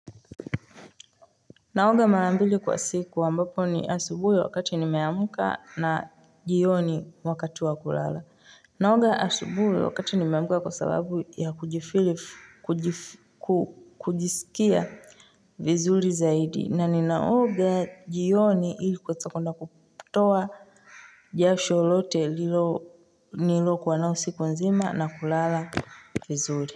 Naoga marambili kwa siku ambapo ni asubuhi wakati nimeamka na jioni wakati wa kulala. Naoga asubuhi wakati nimeamka kwa sababu ya kujifili kujisikia vizuri zaidi. Na ninaoga jioni ili kwa kuweza kuenda kutoa jasho lolote nililokuwa nalo siku nzima na kulala vizuri.